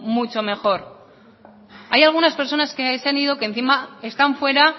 mucho mejor hay algunas personas que se han ido que encima están fuera